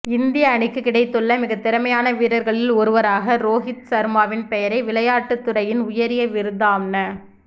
இந்திய அணிக்குக் கிடைத்துள்ள மிகத்திறமையான வீரர்களில் ஒருவராக ரோஹித் சர்மாவின் பெயரை விளையாட்டுத்துறையின் உயரிய விருதாம்ன